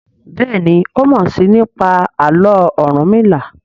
Béèni o mọ sii nípa Àló̩ Orunmila.